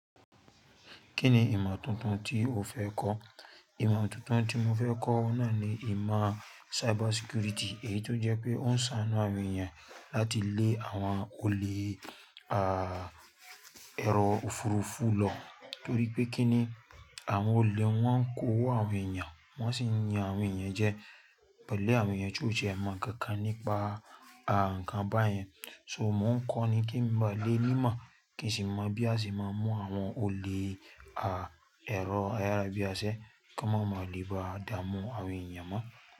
Kí ni ìmọ̀ tuntun tí o fẹ́ kọ́? Ìmọ̀ tuntun tí mo fẹ́ kọ́ náà ni ìmọ̀ cyber security. Èyí tó jẹ́ pé ó ń ṣàánú àwọn èèyàn láti lé àwọn olè, à, ẹ̀rọ òfurufú lọ. Nítorí pé kí ni, àwọn olè un wọ́n ń kó owó àwọn èèyàn, wọ́n sì ń yan àwọn èèyàn jẹ. Àwọn èèyàn tí ó ti ẹ mọ̀ nkankan nípa, à, nǹkan báyẹn. So mò ń kọ́ ni kí n ba le ni imọ̀ kí n sì mọ̀ bí a ṣe máa ń mú àwọn olè, à, ẹ̀rọ ayára bíi ase, kí wọ́n máa lè bá dààmú àwọn èèyàn mọ́.